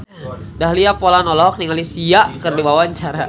Dahlia Poland olohok ningali Sia keur diwawancara